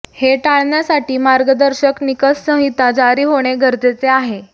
हे टाळण्यासाठी मार्गदर्शक निकष संहिता जारी होणे गरजेचे आहे